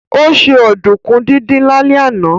Ó se ọ̀dùnkún díndín lálẹ́ àná